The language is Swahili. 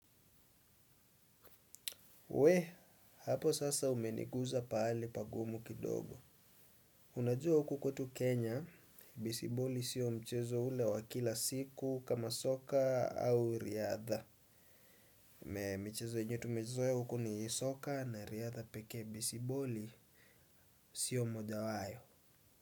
We, hapo sasa umeniguza pahali pagumu kidogo. Unajua huku kwetu Kenya, besiboli sio mchezo ule wa kila siku kama soka au riadha. Michezo yenye tumezoea ya huku ni soka na riadha pekee bisiboli sio mojawayo.